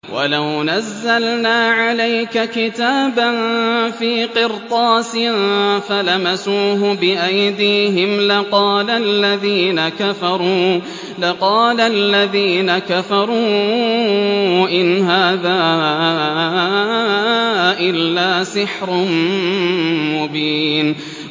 وَلَوْ نَزَّلْنَا عَلَيْكَ كِتَابًا فِي قِرْطَاسٍ فَلَمَسُوهُ بِأَيْدِيهِمْ لَقَالَ الَّذِينَ كَفَرُوا إِنْ هَٰذَا إِلَّا سِحْرٌ مُّبِينٌ